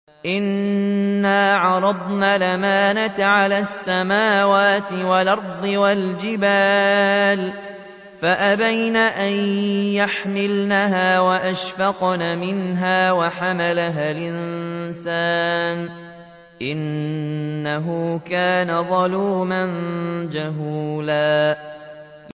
إِنَّا عَرَضْنَا الْأَمَانَةَ عَلَى السَّمَاوَاتِ وَالْأَرْضِ وَالْجِبَالِ فَأَبَيْنَ أَن يَحْمِلْنَهَا وَأَشْفَقْنَ مِنْهَا وَحَمَلَهَا الْإِنسَانُ ۖ إِنَّهُ كَانَ ظَلُومًا جَهُولًا